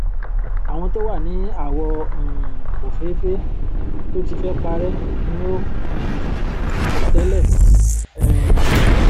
àwọn to wà ní awọ um ofeefe tó tí fẹ parẹ ni o um tí kọ tẹlẹ um